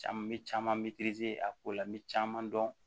Caman bɛ caman bɛ a ko la n bɛ caman dɔn